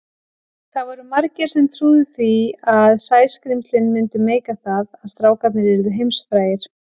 Það voru margir sem trúðu því að Sæskrímslin myndu meika það, að strákarnir yrðu heimsfrægir.